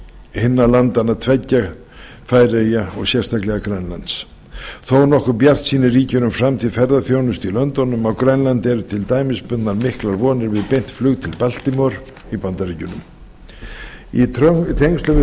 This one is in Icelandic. hinna landanna tveggja færeyja og sérstaklega grænlands þónokkur bjartsýni ríkir um framtíð ferðaþjónustu í löndunum á grænlandi eru til dæmis bundnar miklar vonir við beint flug til baltimore í bandaríkjunum í tengslum við